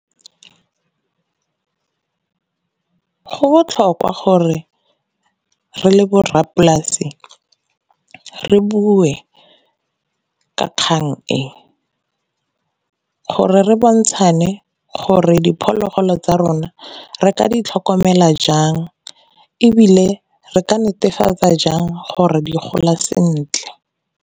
Go botlhokwa gore re le borrapolasi re bue ka kgang e, gore re bontshane gore diphologolo tsa rona re ka di tlhokomela jang, ebile re ka netefatsa jang gore di gola sentle.